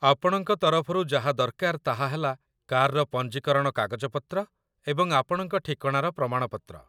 ଆପଣଙ୍କ ତରଫରୁ ଯାହା ଦରକାର ତାହା ହେଲା କାର୍‌ର ପଞ୍ଜୀକରଣ କାଗଜପତ୍ର ଏବଂ ଆପଣଙ୍କ ଠିକଣାର ପ୍ରମାଣ ପତ୍ର।